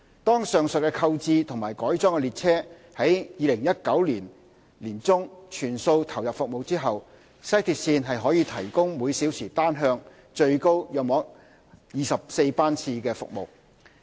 當上述購置和改裝的列車於2019年年中全數投入服務後，西鐵線可提供每小時單向最高約24班次的服務。